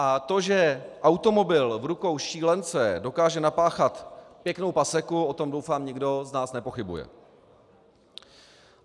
A to, že automobil v rukou šílence dokáže napáchat pěknou paseku, o tom doufám nikdo z nás nepochybuje.